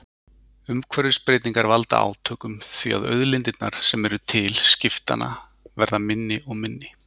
Umhverfisbreytingar valda átökum því að auðlindirnar sem eru til skiptanna verða minni og minni.